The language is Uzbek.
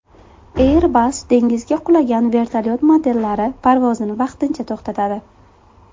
Airbus dengizga qulagan vertolyot modellari parvozini vaqtincha to‘xtatadi.